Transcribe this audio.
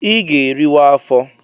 I ga-eriwa afọ!